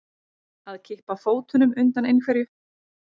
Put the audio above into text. Að kippa fótunum undan einhverju